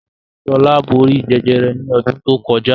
Shola bóri Jẹjẹrẹ ní odún to kojá